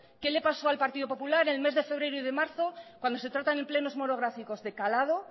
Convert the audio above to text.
qué le pasó al partido popular en el mes de febrero y de marzo cuando se tratan en plenos monográficos de calado